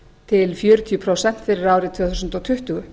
til fjörutíu prósent fyrir árið tvö þúsund tuttugu